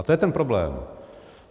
A to je ten problém.